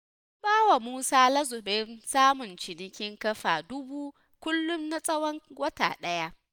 An bawa musa lazumin samun ciniki ƙafa dubu kullum na tsawon wata ɗaya.